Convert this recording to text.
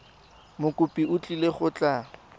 mokopi o tlile go tla